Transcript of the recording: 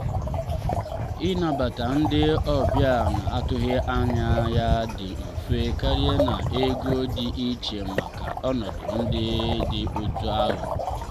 ịnabata ndị ọbịa na-atụghị anya ya dị mfe karị na ego dị iche maka ọnọdụ ndị dị otú ahụ.